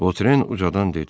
Votren ucadan dedi: